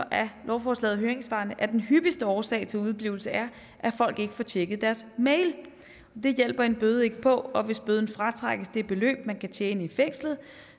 af lovforslagets høringssvar at den hyppigste årsag til udeblivelse er at folk ikke får tjekket deres mails men det hjælper en bøde ikke på og hvis bøden fratrækkes det beløb man kan tjene i fængslet